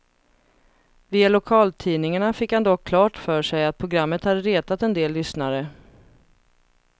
Via lokaltidningarna fick han dock klart för sig att programmet hade retat en del lyssnare.